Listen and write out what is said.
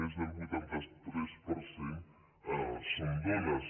més del vuitanta tres per cent són dones